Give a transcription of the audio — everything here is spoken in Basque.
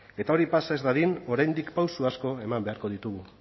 eta hori pasa ez dadin oraindik pausu asko eman beharko ditugu